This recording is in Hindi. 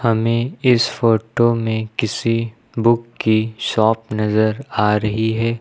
हमें इस फोटो में किसी बुक की शॉप नजर आ रही है।